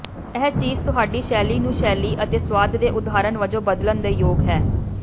ਇਹ ਚੀਜ਼ ਤੁਹਾਡੀ ਸ਼ੈਲੀ ਨੂੰ ਸ਼ੈਲੀ ਅਤੇ ਸੁਆਦ ਦੇ ਉਦਾਹਰਨ ਵਜੋਂ ਬਦਲਣ ਦੇ ਯੋਗ ਹੈ